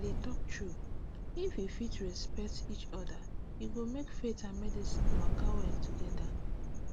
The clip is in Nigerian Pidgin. i dey talk true if we fit respect each other e go make faith and medicine waka well together